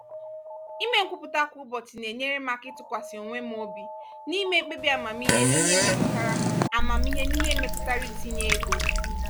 ịme nkwupụta kwa ụbọchị na-enyere m aka ịtụkwasị onwe m obi n’ịme mkpebi amamihe n’ihe metụtara amamihe n’ihe metụtara itinye ego.